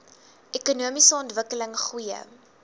ekonomiese ontwikkeling goeie